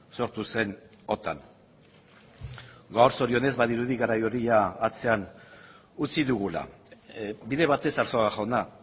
sortu zen otan gaur zorionez badirudi garai hori atzean utzi dugula bide batez arzuaga jauna